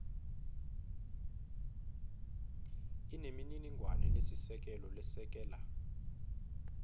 inemininingwane lesisekelo lesekela